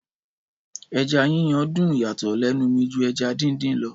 Ẹja yíyan dùn yàtò lẹnu mi ju ẹja dín dín lọ